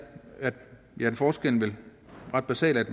er forskellen vel ret beset at